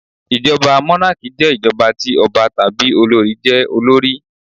Ìjọba mónákì jẹ́ ìjọba ti ọba tàbí olorì jé olórí